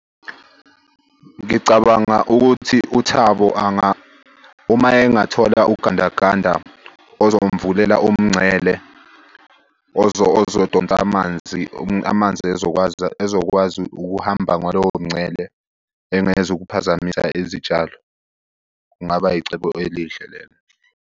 Ngicabanga ukuthi uThabo uma engathola ugandaganda ozomvulela umngcele ozodonsa amanzi, amanzi ezokwazi ezokwazi ukuhamba ngalowo mngcele. Engezukuphazamisa izitshalo, kungaba yicebo elihle lelo.